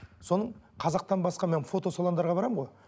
соның қазақтан басқа мен фотосалондарға барамын ғой